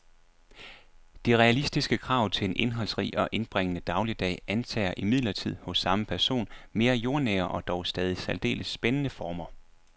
De realistiske krav til en indholdsrig og indbringende dagligdag antager imidlertid hos samme person mere jordnære og dog stadig særdeles spændende former.